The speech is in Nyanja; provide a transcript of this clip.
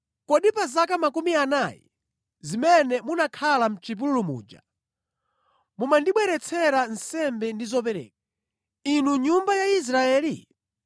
“Kodi pa zaka makumi anayi zimene munakhala mʼchipululu muja munkandibweretsera nsembe ndi zopereka, inu nyumba ya Israeli?